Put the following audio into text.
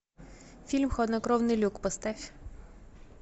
фильм хладнокровный люк поставь